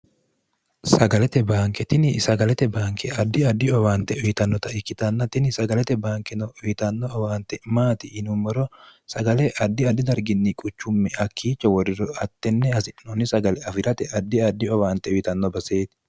sagalete baanketini sagalete baanke addi addi owaante uyitannota ikkitannatini sagalete baankeno uyitanno owaante maati yinuummoro sagale addi addi darginni quchumme hakkiicho worriro attenne hasi'noonni sagale afi'rate addi addi owaante uyitanno baseeti